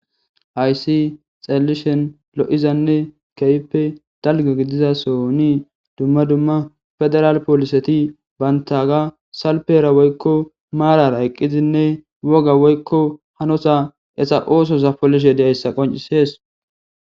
Haysi xalelishen lo7izanne keype dalgo gidiza sooni dumma dumma federal pooliseti bantaga salpera woykko maarara eqqizinne woga woykko hanosa esa oosoza polishe deyayssa qoncisees.